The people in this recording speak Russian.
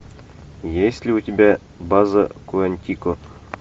есть ли у тебя база куантико